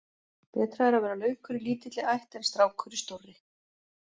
Betra er að vera laukur í lítilli ætt en strákur í stórri.